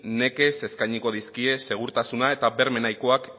nekez eskainiko dizkie segurtasuna eta berme nahikoak